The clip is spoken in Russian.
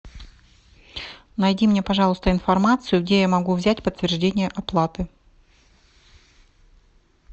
найди мне пожалуйста информацию где я могу взять подтверждение оплаты